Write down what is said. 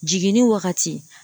Jiginni wagati